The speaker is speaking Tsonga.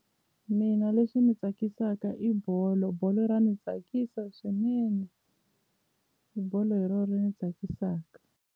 Mina leswi ni tsakisaka i bolo bolo ra ni tsakisa swinene bolo hi ro ri ni tsakisaka.